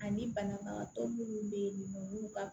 Ani banabagatɔ minnu bɛ yen nɔ n'u ka